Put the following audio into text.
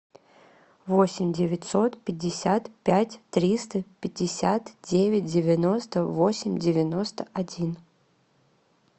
восемь девятьсот пятьдесят пять триста пятьдесят девять девяносто восемь девяносто один